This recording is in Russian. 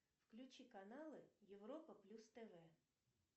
включи каналы европа плюс тв